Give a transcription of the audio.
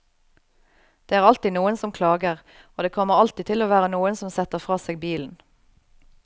Det er alltid noen som klager, og det kommer alltid til å være noen som setter fra seg bilen.